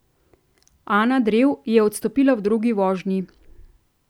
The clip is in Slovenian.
Ana Drev je odstopila v drugi vožnji.